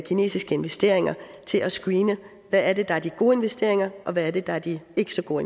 kinesiske investeringer til at screene hvad er det der er de gode investeringer og hvad er det der er de ikke så gode